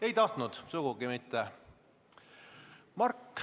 Ei tahtnud, sugugi mitte.